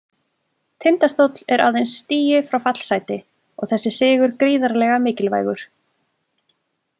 Tindastóll er aðeins stigi frá fallsæti og þessi sigur gríðarlega mikilvægur.